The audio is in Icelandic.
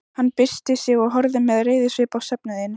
Hann byrsti sig og horfði með reiðisvip á söfnuðinn.